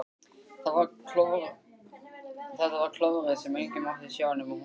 Þetta var klórið sem enginn mátti sjá nema hún ein!